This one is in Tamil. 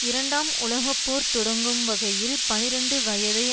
இரண்டாம் உலக போர் தொடங்கும் வகையில் பனிரண்டு வயதை